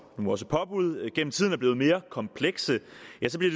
nu også påbud gennem tiden er blevet mere komplekse